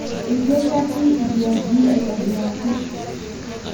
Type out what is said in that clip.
Eitu eshati idiaji aitibiraki